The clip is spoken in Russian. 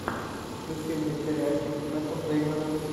включи мне сериальчик с мэттом деймоном